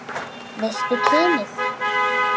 Veistu kynið?